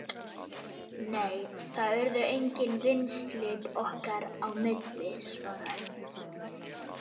Nei, það urðu engin vinslit okkar á milli- svaraði